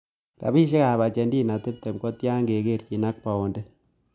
Rapisyekap ajentina tiptem ko tyanan ngekerchin ak paondit